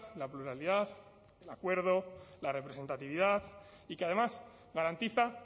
la pluralidad el acuerdo la representatividad y que además garantiza